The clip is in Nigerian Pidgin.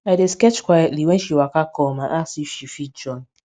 i dey sketch quietly wen she waka kom and ask if she fit join